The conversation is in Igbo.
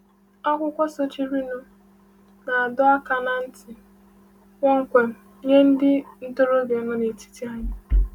Akwụkwọ sochirinụ na-adọ aka ná ntị kpọmkwem nye ndị ntorobịa nọ n’etiti anyị.